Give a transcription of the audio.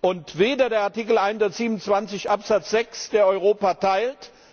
Und weder der Artikel 127 Absatz 6, der Europa